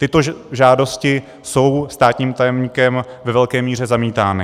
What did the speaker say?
Tyto žádosti jsou státním tajemníkem ve velké míře zamítány.